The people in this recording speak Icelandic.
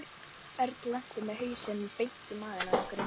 Örn lenti með hausinn beint í magann á einhverjum.